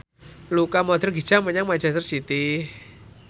Luka Modric hijrah menyang manchester city